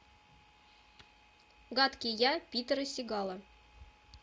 гадкий я питера сигала